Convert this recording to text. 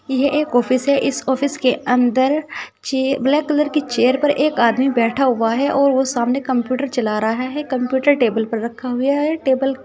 यह एक ऑफिस है इस ऑफिस के अंदर चे ब्लैक कलर की चेयर पर एक आदमी बैठा हुआ है और वो सामने कंप्यूटर चला रहा है कंप्यूटर टेबल पर रखा हुआ है टेबल --